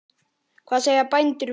Hvað segja bændur við því?